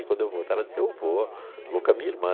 E quando eu voltar, ela disse, eu vou, vou com a minha irmã.